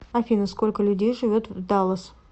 афина сколько людей живет в даллас